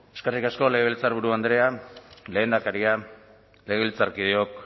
eskerrik asko legebiltzarburu andrea lehendakaria legebiltzarkideok